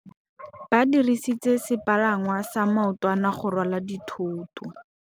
Ba dirisitse sepalangwasa maotwana go rwala dithôtô.